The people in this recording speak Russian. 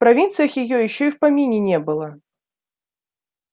в провинциях её ещё и в помине не было